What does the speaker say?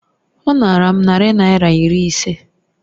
Ọ nara m narị naira iri ise